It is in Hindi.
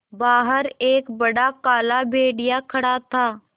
बाहर एक बड़ा काला भेड़िया खड़ा था